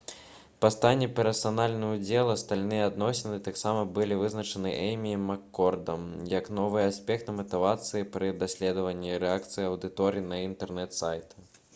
паняцці «персанальны ўдзел» і «сталыя адносіны» таксама былі вызначаны эймі і маккордам 1998 як новыя аспекты матывацыі пры даследаванні рэакцыі аўдыторыі на інтэрнэт-сайты